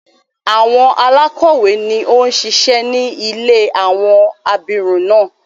Àwon alákọ̀wé ni ó ń ṣíṣe ní ilé àwọn abirùn náà.